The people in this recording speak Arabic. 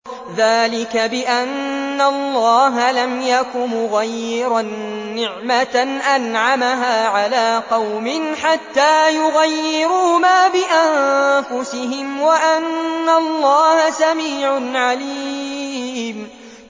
ذَٰلِكَ بِأَنَّ اللَّهَ لَمْ يَكُ مُغَيِّرًا نِّعْمَةً أَنْعَمَهَا عَلَىٰ قَوْمٍ حَتَّىٰ يُغَيِّرُوا مَا بِأَنفُسِهِمْ ۙ وَأَنَّ اللَّهَ سَمِيعٌ عَلِيمٌ